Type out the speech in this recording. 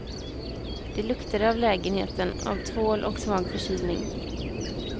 De luktade av lägenheten, av tvål och svag förkylning.